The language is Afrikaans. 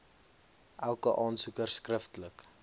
elke aansoeker skriftelik